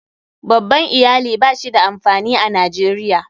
Babban Iyali ba shi da amfani a Najeriya.